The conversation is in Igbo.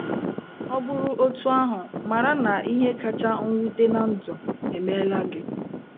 Ọ bụrụ otú ahụ, mara na ihe kacha mwute ná ndụ emeela gị.